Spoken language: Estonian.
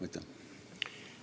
Aitäh!